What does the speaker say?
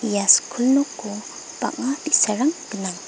ia skul noko bang·a bi·sarang gnang.